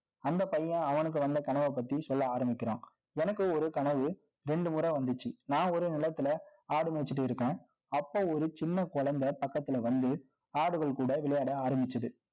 அந்த பையன், அவனுக்கு வந்த கனவைப் பத்தி, சொல்ல ஆரம்பிக்கிறான். எனக்கு ஒரு கனவு, இரண்டு முறை வந்துச்சு. நான் ஒரு நெலத்துல, ஆடு மேய்ச்சுட்டு இருக்கேன் சின்ன குழந்தை பக்கத்துல வந்து, ஆடுகள் கூட விளையாட ஆரம்பிச்சது